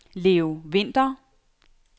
Leo Vinther